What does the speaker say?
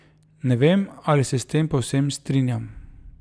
Ne vem, ali se s tem povsem strinjam.